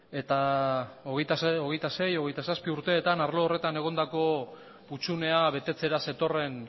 eta hogeita sei hogeita zazpi urteetan arlo horretan egondako hutsunea betetzera zetorren